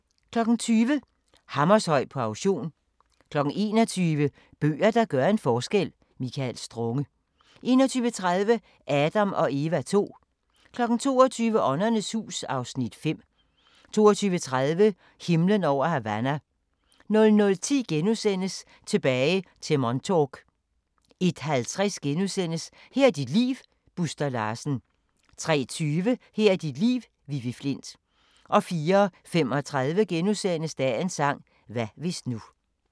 20:00: Hammershøi på auktion 21:00: Bøger, der gør en forskel – Michael Strunge 21:30: Adam & Eva II 22:00: Åndernes hus (Afs. 5) 22:30: Himlen over Havana 00:10: Tilbage til Montauk * 01:50: Her er dit liv - Buster Larsen * 03:20: Her er dit liv – Vivi Flindt 04:35: Dagens sang: Hvad hvis nu *